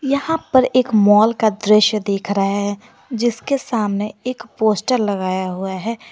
यहां पर एक मॉल का दृश्य दीख रहा है जिसके सामने एक पोस्टर लगाया हुआ है।